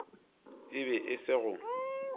e be e se go